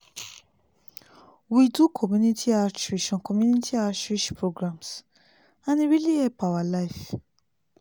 we do community outreach on community outreach programs and e really help our life.